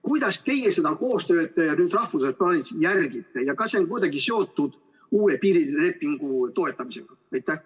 Kuidas teie seda koostööd rahvusvaheliselt plaanite järgida ja kas see on kuidagi seotud uue piirilepingu toetamisega?